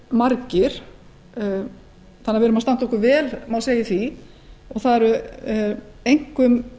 margir þannig að við erum að standa okkur vel má segja í því það eru einkum